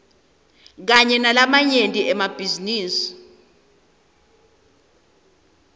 kanye nalamanye emabhizinisi